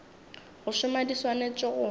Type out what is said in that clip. go šoma di swanetše go